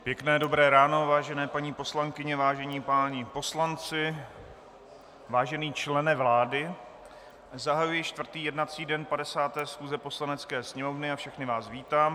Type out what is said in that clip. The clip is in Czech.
Pěkné dobré ráno, vážené paní poslankyně, vážení páni poslanci, vážený člene vlády, zahajuji čtvrtý jednací den 50. schůze Poslanecké sněmovny a všechny vás vítám.